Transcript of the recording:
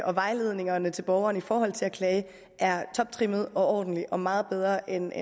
og vejledningerne til borgerne i forhold til at klage er toptrimmede og ordentlige og meget bedre end